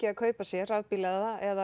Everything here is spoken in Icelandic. að kaupa sér rafbíla eða